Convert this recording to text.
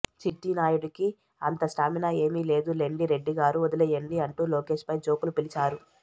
చిట్టి నాయుడుకి అంత స్టామినా ఏమీ లేదు లెండి రెడ్డి గారు వదిలెయ్యండి అంటూ లోకేష్ పై జోకులు పిలచారు